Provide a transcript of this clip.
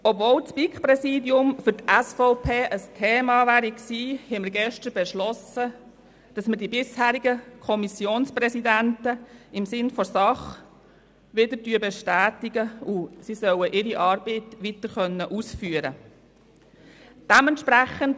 Obwohl das BiK-Präsidium für die SVP ein Thema gewesen wäre, haben wir gestern beschlossen, dass wir die bisherigen Kommissionspräsidenten im Sinne der Sache wieder bestätigen, und sie sollen ihre Arbeit weiter ausführen können.